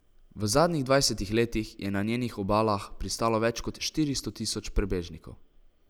V zadnjih dvajsetih letih je na njenih obalah pristalo več kot štiristo tisoč prebežnikov.